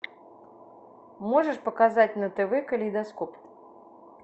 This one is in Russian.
можешь показать на тв калейдоскоп